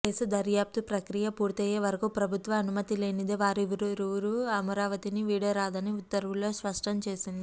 case దర్యాప్తు ప్రక్రియ పూర్తయ్యే వరకూ ప్రభుత్వ అనుమతిలేనిదే వారివురూ అమరావతిని వీడరాదని ఉత్తర్వుల్లో స్పష్టం చేసింది